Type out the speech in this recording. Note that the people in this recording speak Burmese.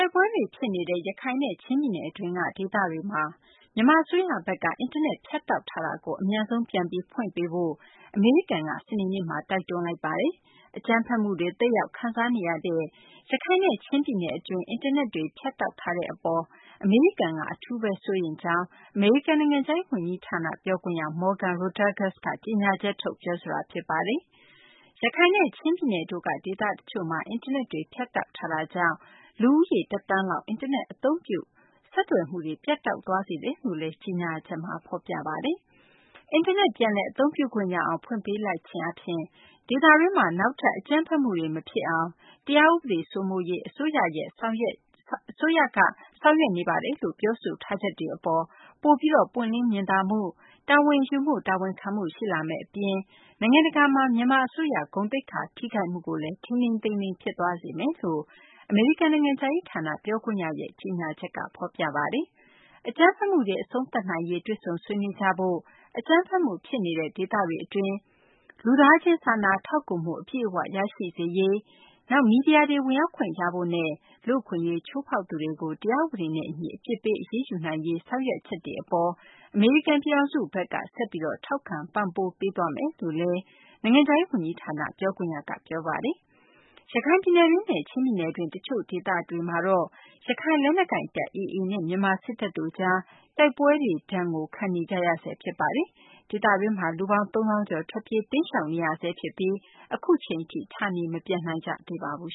က်ပွဲတွေ ဖြစ်နေတဲ့ ရခိုင်နဲ့ ချင်းပြည်နယ်တွင်းက ဒေသတွေမှာ မြန်မာ အစိုးရဘက်က အင်တာနက် ဖြတ်တောက်ထားတာကို အမြန်ဆုံး ပြန်ပြီး ဖွင့်ပေးဖို့ အမေရိကန်က စနေနေ့မှာ တိုက်တွန်းလိုက်ပါတယ်။ အကြမ်းဖက်မှုတွေ သက်ရောက်ခံစားနေရတဲ့ ရခိုင်နဲ့ ချင်းပြည်နယ် အတွင်းမှာ အင်တာနက်တွေ ဖြတ်တောက်ထားတဲ့အပေါ် အမေရိကန်က အထူးပဲ စိုးရိမ်ကြောင်း အမေရိကန် နိုင်ငံခြားရေး ဝန်ကြီးဌာန ပြောခွင့်ရ Morgan Rotagus က ကြေညာချက်ထုတ် ပြောဆိုတာ ဖြစ်ပါတယ်။ ရခိုင်နဲ့ ချင်းပြည်နယ်တို့က ဒေသတချို့မှာ အင်တာနက်တွေ ဖြတ်တောက်ထားတာကြောင့် လူဦးရေ တသန်းလောက် အင်တာနက် အသုံးပြု ဆက်သွယ်မှုတွေ ပြတ်တောက် သွားစေတယ်လို့လည်း ကြေညာချက်မှာ ဖော်ပြပါတယ်။ အင်တာနက်တွေ ပြန်လည် အသုံးပြုခွင့်ရအောင် ဖွင့်ပေးလိုက်ခြင်းအားဖြင့် ဒေသတွင်းမှာ နောက်ထပ် အကြမ်းဖက်မှုတွေ မဖြစ်အောင် တရားဥပဒေ စိုးမိုးရေး အစိုးရရဲ့ ဆောင်ရွက်ချက်တွေ ပိုပြီး ပွင့်လင်းမြင်သာမှု၊ တာဝန်ယူမှု တာဝန်ခံမှု ရှိလာမယ့် အပြင် နိုင်ငံတကာမှာ မြန်မာ အစိုးရ ဂုဏ်သိက္ခာ ထိခိုက်မှုကိုလည်း ထိန်းထိန်းသိမ်းသိမ်း ဖြစ်သွားစေမယ်လို့ အမေရိကန် နိုင်ငံခြားရေးဌာန ပြောခွင့်ရရဲ့ ကြေညာချက်က ဖော်ပြပါတယ်။ အကြမ်းဖက်မှုတွေ အဆုံးသတ်နိုင်ရေး တွေ့ဆုံဆွေးနွေးကြဖို့ အကြမ်းဖက်မှု ဖြစ်နေတဲ့ ဒေသတွေအတွင်း လူသားချင်း စာနာထောက်ကူမှု အပြည့်အဝ ရရှိစေရေး၊ မီဒီယာတွေ ဝင်ရောက်ခွင့်ရရေးနဲ့ လူ့အခွင့်အရေး ချိုးဖောက်သူတွေကို တရားဥပဒေနဲ့ အညီ အပြစ်ပေး အရေးယူနိုင်ရေး ဆောင်ရွက်ချက်တွေ အပေါ် အမေရိကန် ပြည်ထောင်စုဘက်က ဆက်ပြီး ထောက်ခံ ပံ့ပိုးပေးသွားမယ်လို့လည်း နိုင်ငံခြားရေး ဝန်ကြီးဌာန ပြောခွင့်ရက ပြောပါတယ်။ ရခိုင်ပြည်နယ်တွင်းနဲ့ ချင်းပြည်နယ်တွင်း တချို့ ဒေသတွေမှာတော့ ရခိုင်လက်နက်ကိုင်တပ် AA နဲ့ မြန်မာစစ်တပ်တို့ကြား တိုက်ပွဲတွေ ဒဏ်ကို ခံနေကြရဆဲ ဖြစ်ပါတယ်။ ဒေသတွင်းက လူပေါင်း ၃၀,၀၀၀ ကျော် ထွက်ပြေးတိမ်းရှောင်နေရဆဲ ဖြစ်ပြီး အခုအချိန်ထိ ဌာနေ မပြန်နိုင်သေးပါဘူး